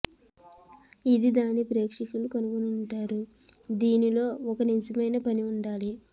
ఇది దాని ప్రేక్షకుల కనుగొంటారు దీనిలో ఒక నిజమైన పని ఉండాలి